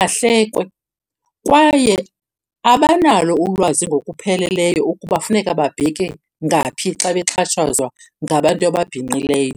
ahlekwe. Kwaye abanalo ulwazi ngokupheleleyo ukuba funeka babheke ngaphi xa bexhatshazwa ngabantu ababhinqileyo.